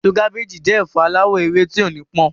Èso kábééjì jẹ́ ẹ̀fọ aláwọ̀ ewé tí ó nípọn.